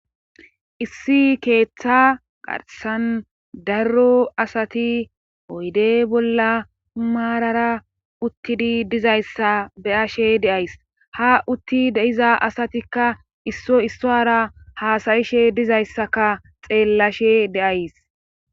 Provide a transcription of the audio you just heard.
issi keeththa garsan darro asati oyde bolla maarara uttidi dizayssa beyashe deays ha utti deiza asatikka isso issoara haasayishe dizayssaka xeellashe deays